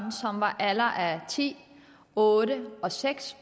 ti otte og seks